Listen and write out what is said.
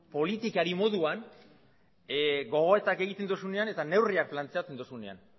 politikari moduan gogoetak egiten duzunean eta neurriak planteatzen duzunean